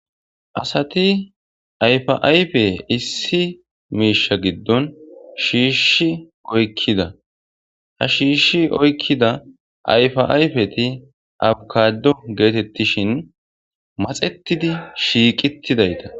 Asati ayfa'ayfe issi miisha giddon shiishshi oykkida ha shiishshi oykkida ayfaayfeti abkado geetettishin maxetidi shiiqitidayta